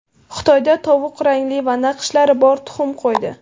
Xitoyda tovuq rangli va naqshlari bor tuxum qo‘ydi.